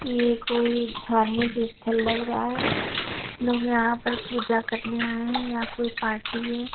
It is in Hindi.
ये कोई धार्मिक इस्थल लग रहा है लोग यहाँ पर पूजा करने आए हैं या कोई पार्टी है।